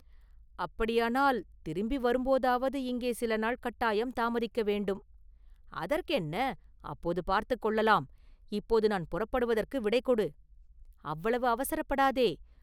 “அப்படியானால், திரும்பி வரும் போதாவது இங்கே சில நாள் கட்டாயம் தாமதிக்க வேண்டும்.” “அதற்கென்ன, அப்போது பார்த்துக் கொள்ளலாம், இப்போது நான் புறப்படுவதற்கு விடைகொடு!” “அவ்வளவு அவசரப்படாதே!